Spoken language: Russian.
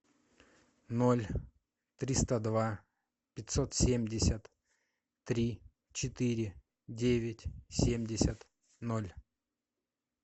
ноль триста два пятьсот семьдесят три четыре девять семьдесят ноль